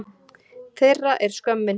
Þeirra er skömmin.